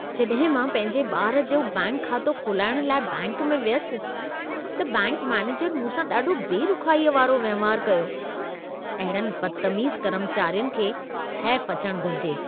जॾहिं मां पंहिंजे ॿार जो बैंक खातो खोलाइण लाइ बैंक में वियुसि, त बैंक मैनेजर मूं सां ॾाढो बेरुख़ाईअ वारो वहिंवार कयो। अहिड़नि बदतमीज़ कर्मचारियुनि खे हैफ़ अचण घुरिजे।